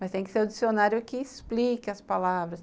Mas tem que ser o dicionário que explique as palavras.